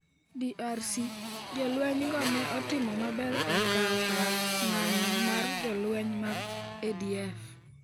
DRC: Jolwenygo ne otimo maber e kawo kar ng’anjo mar jolweny mag ADF